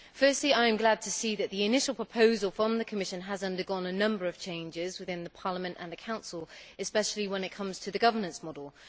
Firstly, I am glad to see that the initial proposal from the Commission has undergone a number of changes within Parliament and the Council, especially when it comes to the governance model.